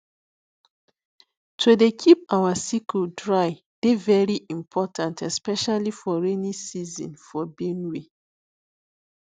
to dey keep your sickle dry dey very important especially for rainy season for benue